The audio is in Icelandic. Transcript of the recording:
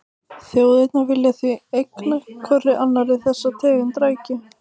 Þjóðirnar vilja því eigna hvorri annarri þessa tegund rækju.